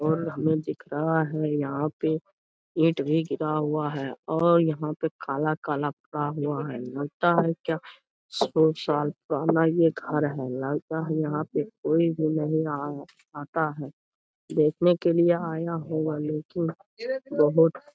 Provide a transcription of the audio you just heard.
और हमें दिख रहा है यहाँ पे ईट भी गिरा हुआ है और यहाँ पे काला काला किया हुआ है लगता है क्या सौ साल पुराना ये घर है लगता है यहाँ पे कोई भी नहीं आया आता है देखने के लिए आया हूँ लेकिन बहुत --